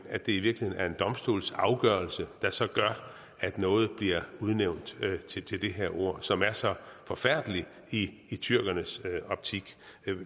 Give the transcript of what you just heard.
at det i virkeligheden er en domstolsafgørelse der så gør at noget bliver udnævnt til det her ord som er så forfærdeligt i tyrkernes optik